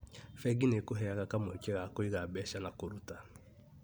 Bengi nĩ ĩkũheaga kamweke ga kũiga mbeca na kũruta